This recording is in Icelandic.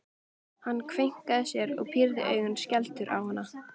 Hann kveinkaði sér og pírði augun skelfdur á hana.